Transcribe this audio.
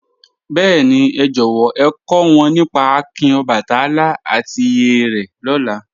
Bẹẹ̀ni, è jọ̀wọ̀ è kò wọn nípá àkìn Ọbàtálá àti ìyè re lóla